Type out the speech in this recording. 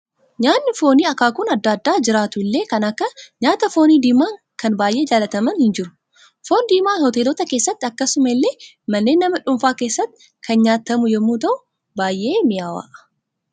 Nyaanni foonii akaakuun adda addaa jiraatu illee kan akka nyaata foonii diimaan kana baayyee jaallatamaan hin jiru. Foon diimaan hoteelota keessatti akkasuma illee manneen nama dhuunfaa keessatti kan nyaatamu yommuu ta'u, baay'ee mi'aawa.